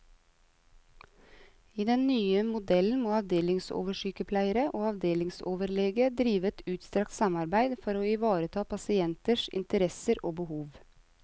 I den nye modellen må avdelingsoversykepleier og avdelingsoverlege drive et utstrakt samarbeide for å ivareta pasienters interesser og behov.